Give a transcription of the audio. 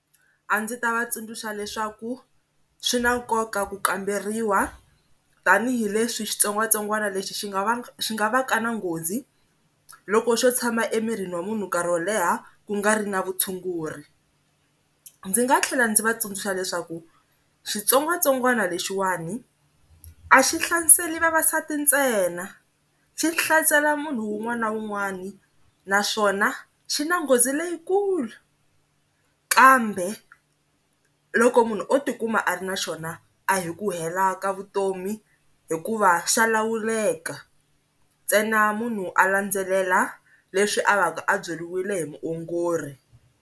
A ndzi ta va tsundzuxa leswaku swi na nkoka ku kamberiwa tanihileswi xitsongwatsongwana lexi xi nga xi nga va ka na nghozi loko xo tshama emirini wa munhu nkarhi wo leha ku nga ri na vutshunguri. Ndzi nga tlhela ndzi va tsundzuxa leswaku xitsongwatsongwana lexiwani a xi hlaseri vavasati ntsena, xi hlaselo munhu wun'wana na wun'wana naswona xi na nghozi leyikulu kambe loko munhu o tikuma a ri na xona a hi ku hela ka vutomi hikuva xa lawuleka, ntsena munhu a landzelela leswi a va ka a byeriwile hi muongori.